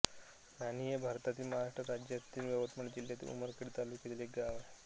नाणी हे भारतातील महाराष्ट्र राज्यातील यवतमाळ जिल्ह्यातील उमरखेड तालुक्यातील एक गाव आहे